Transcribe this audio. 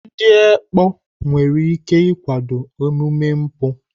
Ndị ekpo nwere ike ịkwado omume mpụ